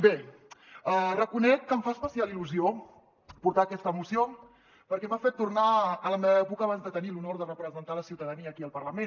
bé reconec que em fa especial il·lusió portar aquesta moció perquè m’ha fet tor·nar a la meva època abans de tenir l’honor de representar la ciutadania aquí al parla·ment